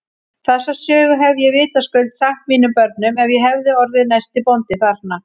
Þessa sögu hefði ég vitaskuld sagt mínum börnum ef ég hefði orðið næsti bóndi þarna.